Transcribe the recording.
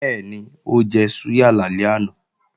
Bẹ́ẹ̀ni, ó jẹ súyà lálẹ́ àná